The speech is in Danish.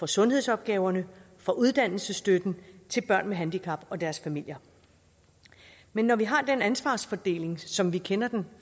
sundhedsopgaverne og uddannelsesstøtten til børn med handicap og deres familier men når vi har den ansvarsfordeling som vi kender den